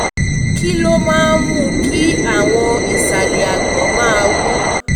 kí ló máa ń mú kí àwọn ìsàlẹ̀ àgbọ̀n máa wú?